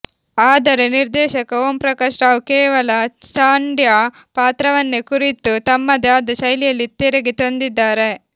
ಆದರೆ ನಿರ್ದೇಶಕ ಓಂ ಪ್ರಕಾಶ್ ರಾವ್ ಕೇವಲ ಚಂಡ್ಯಾ ಪಾತ್ರವನ್ನೇ ಕುರಿತು ತಮ್ಮದೇ ಆದ ಶೈಲಿಯಲ್ಲಿ ತೆರೆಗೆ ತಂದಿದ್ದಾರೆ